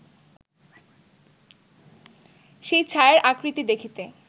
সেই ছায়ার আকৃতি দেখিতে